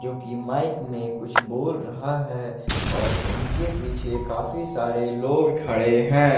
जो कि माइक में कुछ बोल रहा है और उनके पीछे काफी सारे लोग खड़े हैं।